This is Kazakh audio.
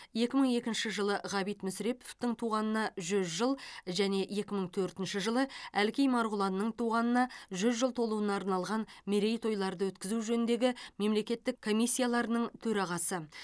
екі мың екінші жылы ғабит мүсіреповтің туғанына жүз жыл және екі мың төртінші жылы әлкей марғұланның туғанына жүз жыл толуына арналған мерейтойларды өткізу жөніндегі мемлекеттік комиссияларының төрағасы